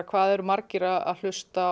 hvað eru margir að hlusta